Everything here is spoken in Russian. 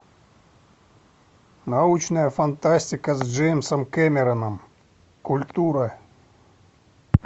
научная фантастика с джеймсом кэмероном культура